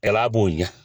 Kɛla b'o ɲɛ